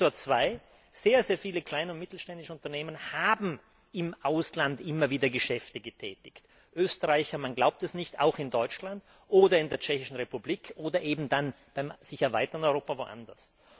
Faktor zwei Sehr viele kleine und mittelständische Unternehmen haben im Ausland immer wieder Geschäfte getätigt. Österreicher man glaubt es nicht auch in Deutschland oder in der Tschechischen Republik, oder dann im sich erweiternden Europa eben woanders.